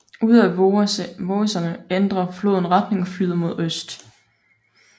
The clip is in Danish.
Ude af Vogeserne ændrer floden retning og flyder mod øst